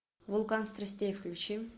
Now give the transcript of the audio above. вулкан страстей включи